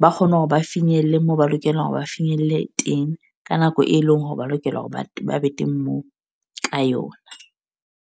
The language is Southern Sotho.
Ba kgone hore ba finyelle mo ba lokela hore ba finyelle teng ka nako e leng hore ba lokela hore batho ba be teng moo, ka yona.